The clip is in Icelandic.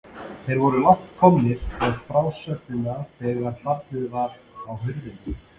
Þeir voru langt komnir með frásögnina þegar barið var á hurðina.